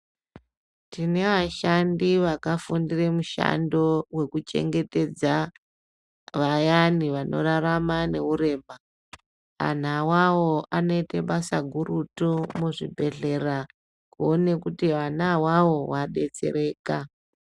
Tine ashandi vakafundire mushando weku chengetedza vayani vanorarama ne urema anhu awawo anoite basa gurutu mu zvibhedhlera kuone kuti ana awawo a detsereka.